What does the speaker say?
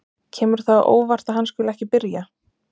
Kemur það á óvart að hann skuli ekki byrja?